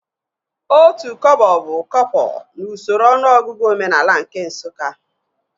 Otu kọbọ bụ kọpọ n'usoro ọnụọgụgụ omenaala nke Nsụka